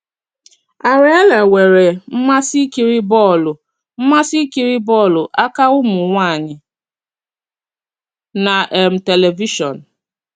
Arielle nwere mmasị ịkiri bọ́ọlụ mmasị ịkiri bọ́ọlụ aka ụmụ nwanyị na um tẹlivishọn.